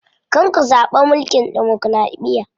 Kar ku zaɓi mulkin demokiraɗiya.